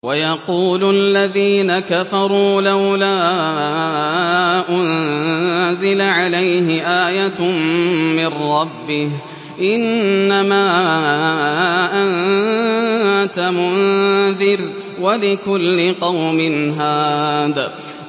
وَيَقُولُ الَّذِينَ كَفَرُوا لَوْلَا أُنزِلَ عَلَيْهِ آيَةٌ مِّن رَّبِّهِ ۗ إِنَّمَا أَنتَ مُنذِرٌ ۖ وَلِكُلِّ قَوْمٍ هَادٍ